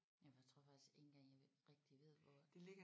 Ja for jeg tror faktisk ikke engang jeg ved rigtig ved hvor